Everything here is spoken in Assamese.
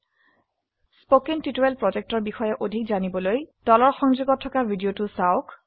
স্পোকেন টিউটোৰিয়াল প্ৰকল্প সম্পৰ্কে অধিক জানিবলৈ এই লিঙ্কে উপলব্ধ ভিডিওটি চাওক